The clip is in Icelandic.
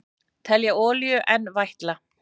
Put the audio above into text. Telja olíu enn vætla